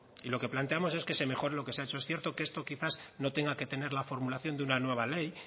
y lo que planteamos es que se mejore lo que se ha hecho es cierto que esto quizás no tenga que tener la formulación de una nueva ley